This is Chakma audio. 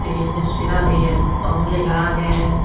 ye tesveerar yer ong lega agey.